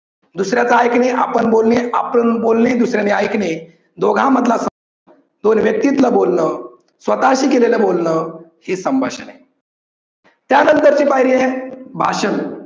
दुसऱ्याच ऐकणे आपण बोलणे आपण बोलणे दुसऱ्याच ऐकणे, दोघा मधला संवाद, दोन व्यक्तीतलं बोलन, स्वतः शी केलेलं बोलणं हे संभाषण आहे. त्या नंतर ची पायरी आहे भाषण.